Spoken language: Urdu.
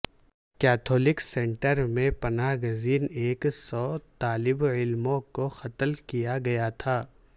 کیتھولک سینٹر میں پناہ گزین ایک سو طالب علموں کو قتل کیا گیا تھا